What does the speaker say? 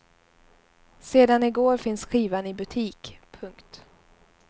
Sedan i går finns skivan i butik. punkt